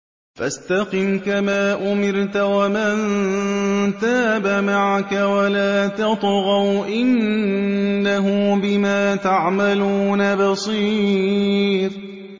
فَاسْتَقِمْ كَمَا أُمِرْتَ وَمَن تَابَ مَعَكَ وَلَا تَطْغَوْا ۚ إِنَّهُ بِمَا تَعْمَلُونَ بَصِيرٌ